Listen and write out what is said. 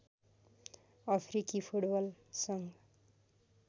अफ्रिकी फुटबल सङ्घ